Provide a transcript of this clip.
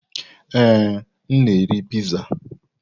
Ee, m na-eri Piizaa.